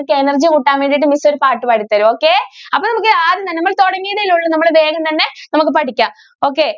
നിങ്ങൾക്ക് energy കൂട്ടാൻ വേണ്ടിട്ട് miss ഒരു പാട്ട് പാടി തരാം okay അപ്പൊ നമ്മൾക്ക് ആദ്യം തന്നെ നമ്മൾ തുടങ്ങിയതല്ലേ ഒള്ളു നമുക്ക് വേഗം തന്നെ നമുക്ക് പഠിക്കാം okay.